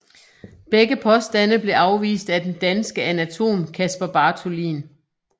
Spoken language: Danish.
Begge påstande blev afvist af den danske anatom Caspar Bartholin